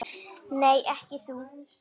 Nei, ekki þú.